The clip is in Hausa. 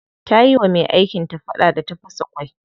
Ta yi wa me aikin ta fada da ta fasa mata kwano.